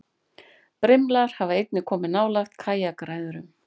Brimlar hafa einnig komið nálægt kajakræðurum.